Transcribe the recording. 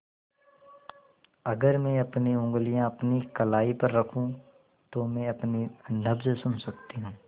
अगर मैं अपनी उंगलियाँ अपनी कलाई पर रखूँ तो मैं अपनी नब्ज़ सुन सकती हूँ